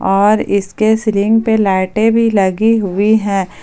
और इसके सीलिंग पे लाइटें भी लगी हुई है।